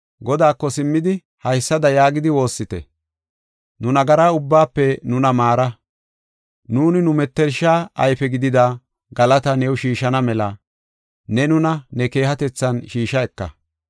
Godaako simmidi, haysada yaagidi woossite; “Nu nagara ubbaafe nuna maara; nuuni nu mettersha ayfe gidida galataa new shiishana mela ne nuna ne keehatethan shiisha eka.